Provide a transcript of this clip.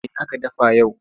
Me aka dafa yau?